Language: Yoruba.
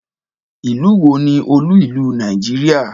Ìlú wo ni olú ìlú Nàìjíríà?